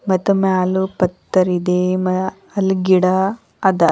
ಮಾತೊಮೆ ಅಲ್ಲೂ ಪತ್ತರ್ ಇದೆ ಮ ಅಲ್ ಗಿಡ ಅದ.